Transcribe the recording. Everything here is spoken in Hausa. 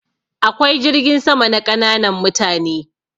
Akwai jirgin sama na ƙananan mutane.